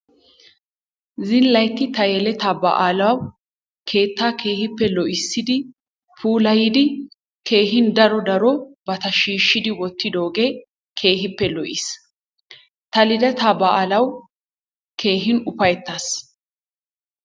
Zilaytti ta yelettaa baalawu keetta keehippe lo'issidi, puulayidi keehin daro darobata shiishshidi wottiddoogee keehippe lo'iis. Ta liddataa baalawu keehin ufayttaas.